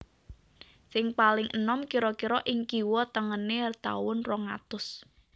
Sing paling enom kira kira ing kiwa tengené taun rong atus